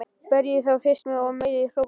Berjið þá fyrst og meiðið, hrópaði Kort.